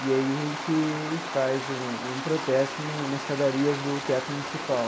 E aí a gente faz um um protesto no nas escadarias do Teatro Municipal.